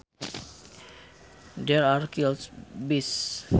There are killer bees